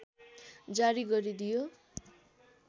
जारी गरिदियो